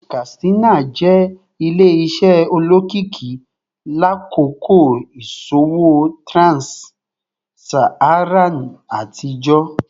Katsina jẹ ile-iṣẹ olokiki lakoko iṣowo trans-Saharan atijọ